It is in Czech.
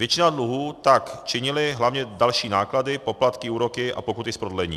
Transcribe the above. Většinu dluhů tak činily hlavně další náklady, poplatky, úroky a pokuty z prodlení.